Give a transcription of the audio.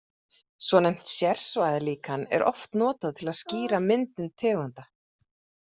Svonefnt sérsvæðalíkan er oft notað til að skýra myndun tegunda.